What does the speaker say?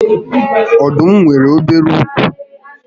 Ọdụm nwèrè obere úkwú